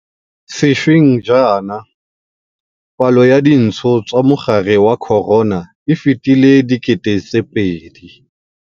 Se šweng jaana, palo ya dintsho tsa mogare wa corona e fetile 2 000.